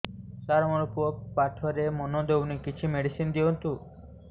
ସାର ମୋର ପୁଅ ପାଠରେ ମନ ଦଉନି କିଛି ମେଡିସିନ ଦିଅନ୍ତୁ